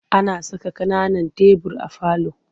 Ana saka ƙananan tebur a falo.